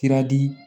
Sira di